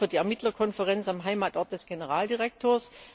Das gilt auch für die Ermittlerkonferenz am Heimatort des Generaldirektors.